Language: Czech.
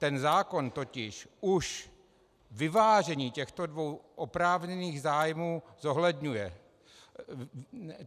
Ten zákon totiž už vyvážení těchto dvou oprávněných zájmů zohledňuje.